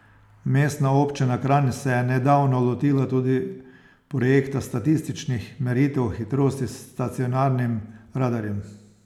Mestna občina Kranj se je nedavno lotila tudi projekta statističnih meritev hitrosti s stacionarnim radarjem.